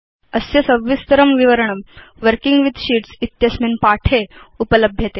अस्य सविस्तरं विवरणं वर्किंग विथ शीट्स् इत्यस्मिन् पाठे उपलभ्यते